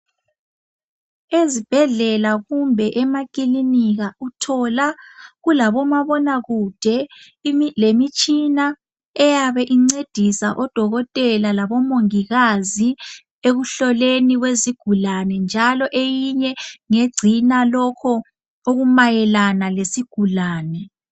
Ezibhedlela kumbe emakilinika uthola kulabomabonakude lemitshina eyabe incedisa odokotela labomongikazi ekuhlolweni kwezigulane .Njalo eyinye ngegcina lokho okumayelana lezigulane.